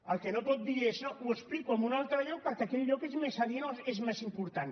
el que no pot dir és no ho explico en un altre lloc perquè aquell lloc és més adient o és més important